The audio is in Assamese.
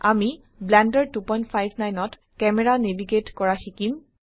আমি ব্লেন্ডাৰ 259ত ক্যামেৰা নেভিগেট কৰা শিকিম